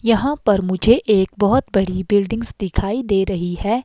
यहां पर मुझे एक बहोत बड़ी बिल्डिंग्स दिखाई दे रही है।